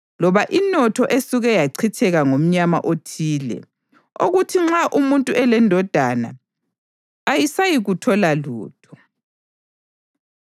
loba inotho esuke yachitheka ngomnyama othile, okuthi nxa umuntu elendodana ayisayikuthola lutho.